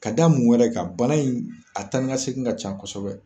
Ka da mun wɛrɛ ka bana in a taanikasegin ka ca kosɛbɛ